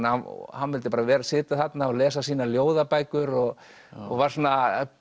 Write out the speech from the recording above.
hann vildi sitja þarna og lesa sínar ljóðabækur og var svona